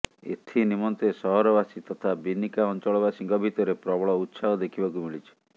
ଏଥିନିମନ୍ତେ ସହରବାସୀ ତଥା ବିନିକା ଅଞ୍ଚଳବାସୀଙ୍କ ଭିତରେ ପ୍ରବଳ ଉତ୍ସାହ ଦେଖିବାକୁ ମିଳିଛି